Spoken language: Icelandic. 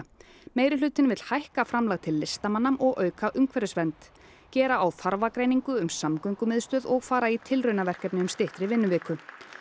meirihlutinn vill hækka framlag til listamanna og auka umhverfisvernd gera á þarfagreiningu um samgöngumiðstöð og fara í tilraunaverkefni um styttri vinnuviku